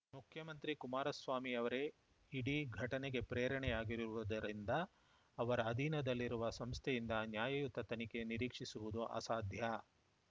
ಮುಖ್ಯಮಂತ್ರಿ ಕುಮಾರಸ್ವಾಮಿ ಅವರೇ ಇಡೀ ಘಟನೆಗೆ ಪ್ರೇರಣೆಯಾಗಿರುವುದರಿಂದ ಅವರ ಅಧೀನದಲ್ಲಿರುವ ಸಂಸ್ಥೆಯಿಂದ ನ್ಯಾಯಯುತ ತನಿಖೆ ನಿರೀಕ್ಷಿಸುವುದು ಅಸಾಧ್ಯ